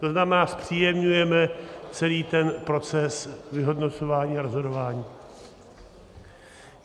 To znamená, zpříjemňujeme celý ten proces vyhodnocování a rozhodování.